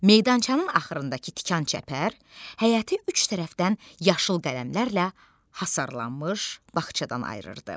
Meydançanın axırındakı tikan çəpər, həyəti üç tərəfdən yaşıl qələmlərlə hasarlanmış bağçadan ayırırdı.